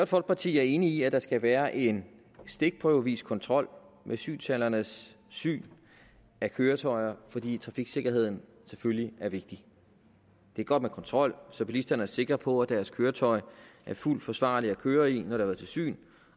folkeparti er enig i at der skal være en stikprøvevis kontrol med synshallernes syn af køretøjer fordi trafiksikkerheden selvfølgelig er vigtig det er godt med kontrol så bilisterne er sikre på at deres køretøj er fuldt forsvarligt at køre i når det har været til syn